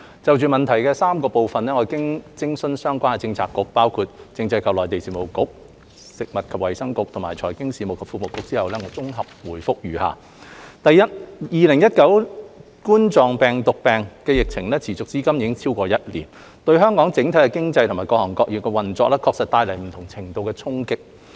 就質詢的3部分，經諮詢相關政策局，包括政制及內地事務局、食物及衞生局和財經事務及庫務局後，我綜合回覆如下：一2019冠狀病毒病疫情持續至今已經超過一年，對香港整體經濟和各行各業的運作帶來不同程度的衝擊。